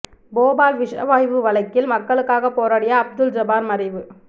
போபால் விஷவாயு வழக்கில் மக்களுக்காக போராடிய அப்துல் ஜபார் மறைவு